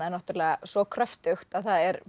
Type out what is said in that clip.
er náttúrulega svo kröftugt að það er